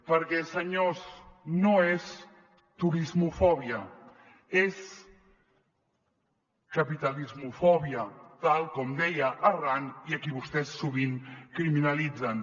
perquè senyors no és turismofòbia és capitalismofòbia tal com deia arran i a qui vostès sovint criminalitzen